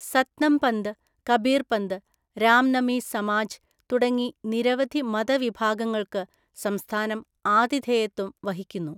സത്നംപന്ത്, കബീർപന്ത്, രാംനമി സമാജ് തുടങ്ങി നിരവധി മതവിഭാഗങ്ങൾക്ക് സംസ്ഥാനം ആതിഥേയത്വം വഹിക്കുന്നു.